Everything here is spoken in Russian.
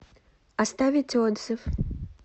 оставить отзыв